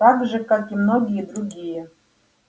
так же как и многие другие